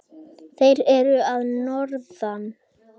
Þeir eru að norðan.